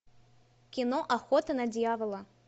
кино охота на дьявола